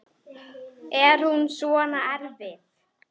Er hún svona erfið?